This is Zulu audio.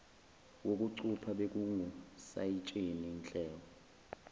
wokucupha bekungusayitsheni nhleko